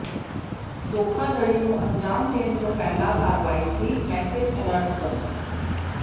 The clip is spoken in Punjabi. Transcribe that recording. ਧੋਖਾਧੜੀ ਨੂੰ ਅੰਜਾਮ ਦੇਣ ਤੋਂ ਪਹਿਲਾ ਕਰਵਾਇਆ ਸੀ ਮੈਸਜ ਅਲੱਟ ਬੰਦ